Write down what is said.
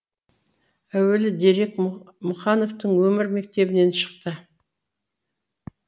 әуелгі дерек мұқановтың өмір мектебінен шықты